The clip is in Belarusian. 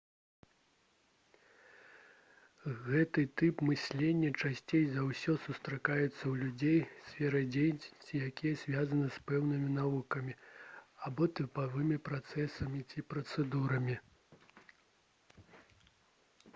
гэты тып мыслення часцей за ўсё сустракаецца ў людзей сфера дзейнасці якіх звязана з пэўнымі навуковымі або тыповымі працэсамі ці працэдурамі